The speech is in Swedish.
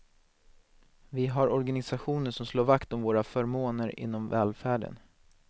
Vi har organisationer som slår vakt om våra förmåner inom välfärden.